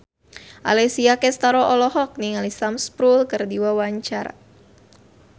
Alessia Cestaro olohok ningali Sam Spruell keur diwawancara